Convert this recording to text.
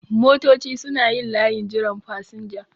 Motoci suna yin layin jiran fasinja